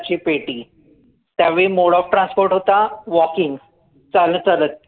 ची पेटी त्या वेळी mode of transport होता walking चालत चालत